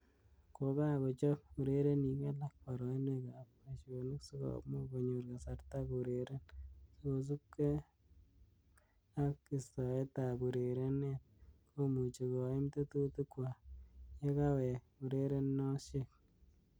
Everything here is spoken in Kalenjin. Kokakochob Urerenik alak barainwek ab boishonik sikomuch konyor kasarta koureren, kosubkei ak istoet ab urerenet komuchi koim tetutik kwak yekawek ureronoshek.